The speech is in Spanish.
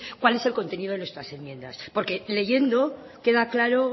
cuál es el contenido de nuestras enmiendas porque leyendo queda claro